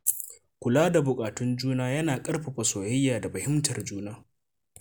Kula da buƙatun juna yana ƙarfafa soyayya da fahimtar juna.